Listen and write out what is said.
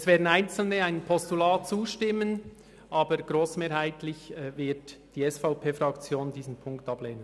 Es werden einzelne einem Postulat zustimmen, aber grossmehrheitlich wird die SVP-Fraktion diesen Punkt ablehnen.